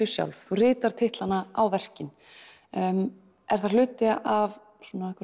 sjálf þú ritar titlanna á verkin er það hluti af